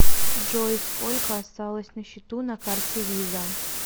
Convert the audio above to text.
джой сколько осталось на счету на карте виза